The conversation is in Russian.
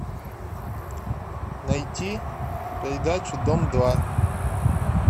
найти передачу дом два